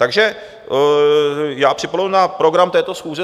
Takže já připomenu na program této schůze...